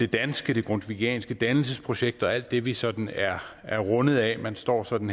danske det grundtvigianske dannelsesprojekt og alt det vi sådan er er rundet af man står sådan